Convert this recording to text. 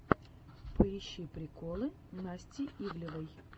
поищи приколы насти ивлеевой